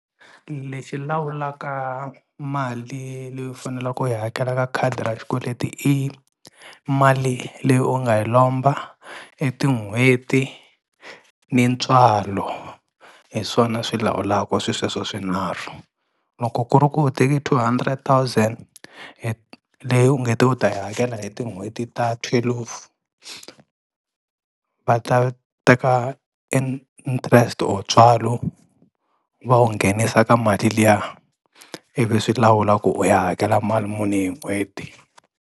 Lexi lawulaka mali leyi u fanelaku u yi hakela ka khadi ra xikweleti i mali leyi u nga yi lomba i tin'hweti ni ntswalo hi swona swi lawulaku swisweswo swinharhu. Loko ku ri ku u teki two hundred thousand leyi u nge te u ta yi hakela hi tin'hweti ta twelve va ta teka interest or ntswalo va wu nghenisa ka mali liya ivi swi lawula ku u ya hakela mali muni hi n'hweti.